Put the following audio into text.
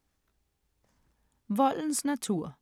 Voldens natur